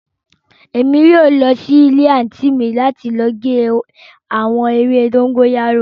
Emi yóò lọ si ile anti mi ni ọla lati ge awọn ewe dogoyaro